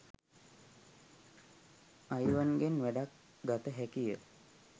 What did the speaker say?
අයිවන්ගෙන් වැඩක් ගත හැකිය